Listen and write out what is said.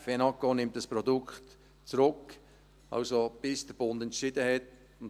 Die fenaco nimmt dieses Produkt zurück, bis der Bund entschieden hat.